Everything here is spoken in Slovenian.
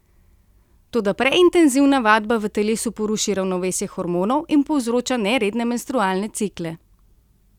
Toda preintenzivna vadba v telesu poruši ravnovesje hormonov in povzroča neredne menstrualne cikle.